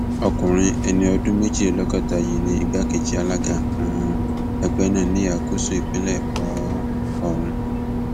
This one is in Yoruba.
ọkùnrin ẹni ọdún méjìlélọgọta yìí ni igbákejì alága um ẹgbẹ náà ní ìhà gúúsù ìpínlẹ um ọhún